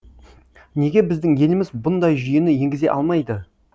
неге біздің еліміз бұндай жүйені енгізе алмайды